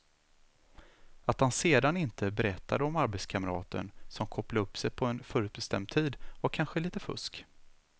Att han sedan inte berättade om arbetskamraten som kopplade upp sig på en förutbestämd tid var kanske lite fusk.